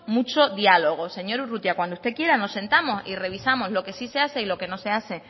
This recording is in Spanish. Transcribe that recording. mucho diálogo señor urrutia cuando usted quiera nos sentamos y revisamos lo que sí se hace y lo que no se hace